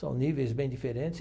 São níveis bem diferentes.